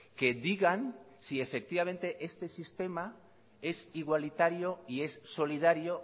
que digan si efectivamente este sistema es igualitario y es solidario